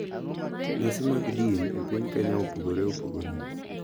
Nyasi mag din e piny Kenya opogore opogore.